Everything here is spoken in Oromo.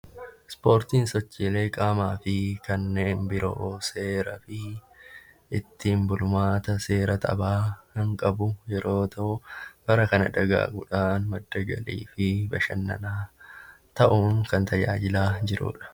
Ispoortiin sochiilee qaamaa fi kanneen biroo seeraa fi ittiin bulmaata seera taphaa kan qabu yoo ta'u bara kana dagaaguudhaan madda galii fi bashannanaa ta'uun tajaajilaa jiruudha.